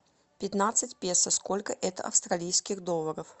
пятнадцать песо сколько это австралийских долларов